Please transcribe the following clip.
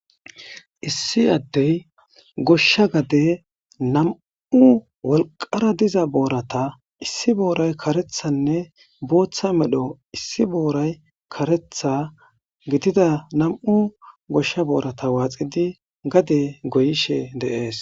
Issi addey goshsha gade nam'u wolqara diza boorata issi booray karethanne booththa medho issi booray karetha gidida nam'u goshsha boorata waaxidi gade goyishe deees.